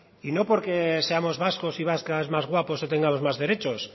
y no porque seamos vascos y vascas más guapos o tengamos más derechos